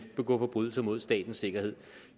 begå forbrydelser mod statens sikkerhed